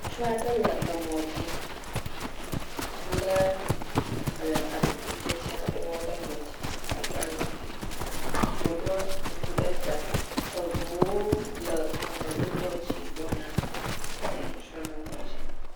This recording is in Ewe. Ŋutsu aɖe le emɔ dzi le ele atikutsetse aɖewo le mɔ dzi. Aŋkpa za. Woɖɔ kuku ɖe ta. Eŋuwo le emɔdodoa dzi gbɔna. Ye ŋutsua le mɔ dzi.